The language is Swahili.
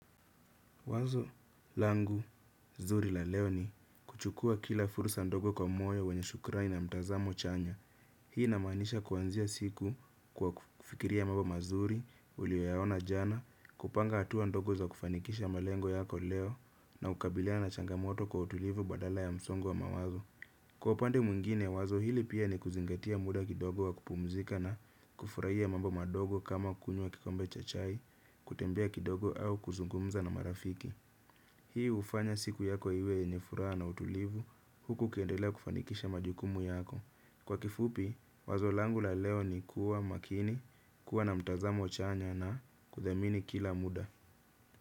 Wazo langu zuri la leo ni kuchukua kila fursa ndogo kwa moyo wenye shukurani na mtazamo chanya. Hii inamaanisha kuanzia siku kwa kufikiria mambo mazuri uliyoyaona jana, kupanga hatua ndogo za kufanikisha malengo yako leo na kukabiliana na changamoto kwa utulivu badala ya msongo wa mawazo. Kwa upande mwingine, wazo hili pia ni kuzingatia muda kidogo wa kupumzika na kufurahia mambo madogo kama kunywa kikombe cha chai, kutembea kidogo au kuzungumza na marafiki. Hii hufanya siku yako iwe yenye furaha na utulivu huku ukiendelea kufanikisha majukumu yako. Kwa kifupi, wazo langu la leo ni kuwa makini, kuwa na mtazamo chanya na kuthamini kila muda.